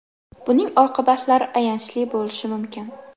Buning oqibatlari ayanchli bo‘lishi mumkin.